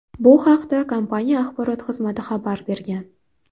Bu haqda kompaniya Axborot xizmati xabar bergan .